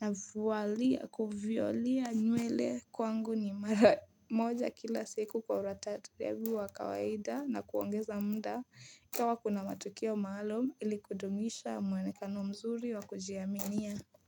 na vualia kuviolea nywele kwangu ni mara moja kila siku kwa ratatirebu wa kawaida na kuongeza mda kama kuna matukio maalum ili kudumisha mwenekano mzuri wa kujiaminia.